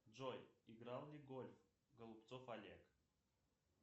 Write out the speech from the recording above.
джой играл ли в гольф голубцов олег